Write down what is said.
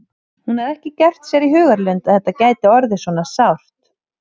Hún hafði ekki gert sér í hugarlund að þetta gæti orðið svona sárt.